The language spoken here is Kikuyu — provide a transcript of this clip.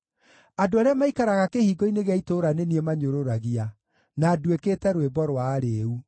Andũ arĩa maikaraga kĩhingo-inĩ gĩa itũũra nĩ niĩ manyũrũragia, na nduĩkĩte rwĩmbo rwa arĩĩu.